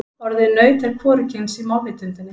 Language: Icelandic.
Orðið naut er hvorugkyns í málvitundinni.